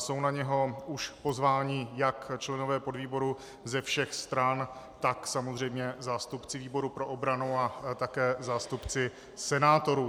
Jsou na něj už pozváni jak členové podvýboru ze všech stran, tak samozřejmě zástupci výboru pro obranu a také zástupci senátorů.